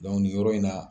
nin yɔrɔ in na